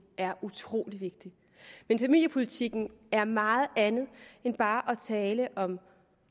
er utrolig vigtig men familiepolitikken er meget andet end bare at tale om